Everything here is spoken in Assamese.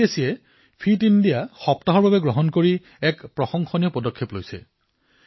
চিবিএছইয়ে ফিট ইণ্ডিয়া সপ্তাহৰ এক প্ৰশংসনীয় পদক্ষেপ গ্ৰহণ কৰিছে